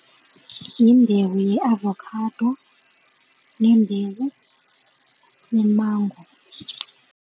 Yimbewu ye-avocado nembewu yemango.